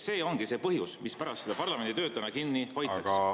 See ongi see põhjus, mispärast täna parlamendi tööd kinni hoitakse.